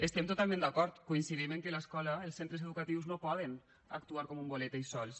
estem totalment d’acord coincidim en el fet que els centres educatius no poden actuar com un bolet ells sols